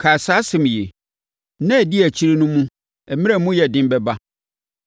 Kae saa asɛm yi. Nna a ɛdi akyire no mu mmerɛ no mu bɛyɛ den.